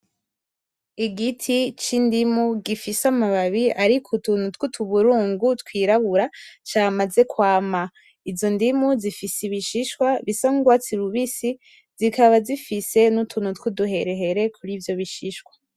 Igiti c'Indimu gifise amababi arik'utuntu tw'utuburungu twirabura camaze kwama ,izo ndimu zifise ibishishwa bisa n'urwatsi rubisi zikaba zifise n'utuntu twuduherehere kur'ivyo bishishwa